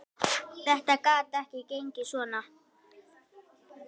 Þetta gat ekki gengið svona.